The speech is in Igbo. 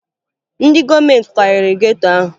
Ndị gọọmenti kwariri geto ahụ